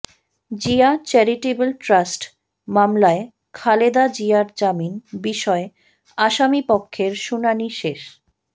Zia charitable trust মামলায় খালেদা জিয়ার জামিন বিষয়ে আসামিপক্ষের শুনানি শেষ